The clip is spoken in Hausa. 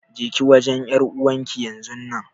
Jeki wajen ƴar'uwarki yanzun nan.